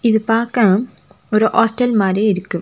இது பாக்க ஒரு ஹாஸ்டல் மாறி இருக்கு.